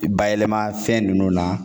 Bayɛlɛma fɛn ninnu na